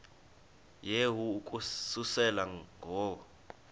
yehu ukususela ngo